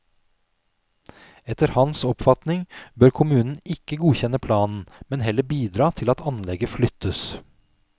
Etter hans oppfatning bør kommunen ikke godkjenne planen, men heller bidra til at anlegget flyttes.